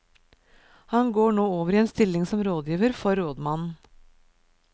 Han går nå over i en stilling som rådgiver for rådmannen.